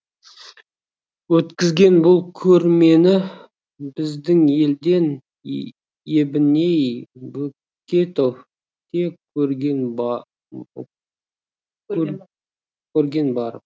өткізген бұл көрмені біздің елден ебіней бөкетов те көрген барып